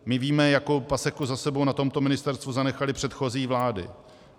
My víme, jakou paseku za sebou na tomto ministerstvu zanechaly předchozí vlády.